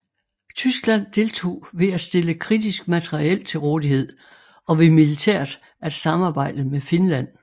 Tyskland deltog ved at stille kritisk materiel til rådighed og ved militært at samarbejde med Finland